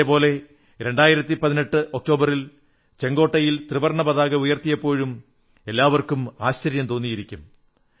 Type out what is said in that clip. ഇതേ പോലെ 2018 ഒക്ടോബറിൽ ചുവപ്പ് കോട്ടയിൽ ത്രിവർണ്ണ പതാക ഉയർത്തിയപ്പോഴും എല്ലാവർക്കും ആശ്ചര്യം തോന്നിയിരിക്കും